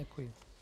Děkuji.